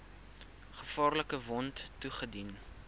gevaarlike wond toegedien